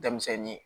Denmisɛnnin